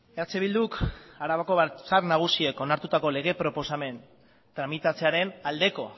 eh bilduk arabako batzar nagusiek onartutako lege proposamen tramitatzearen aldeko